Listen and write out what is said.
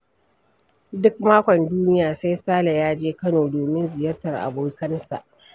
Duk makon duniya sai Sale ya je Kano domin ziyartar abokansa.